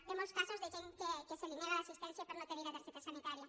té molts casos de gent a qui es nega l’assistència per no tenir la targeta sanitària